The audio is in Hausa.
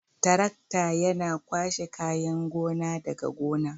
Tarakta Yana kwashe kayan gona daga gona.